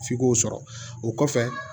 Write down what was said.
F'i k'o sɔrɔ o kɔfɛ